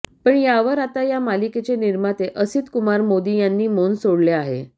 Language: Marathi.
पण यावर आता या मालिकेचे निर्माते असित कुमार मोदी यांनी मौन सोडले आहे